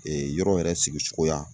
yɔrɔ yɛrɛ sigisogoya